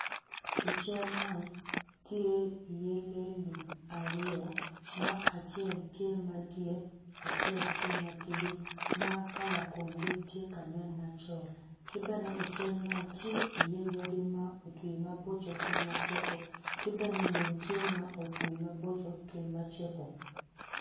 I cal man tye iye lee lum aryo ma acel tye madit acel tye matidi kala komgi tye ka nen macol ki bene ical man tye iye yadi ma otwi maboco ki macego ki bene lum tye ma otwi maboco ki ma cego.